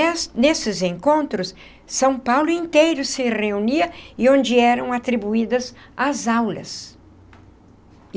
Nessa nesses encontros, São Paulo inteiro se reunia e onde eram atribuídas as aulas.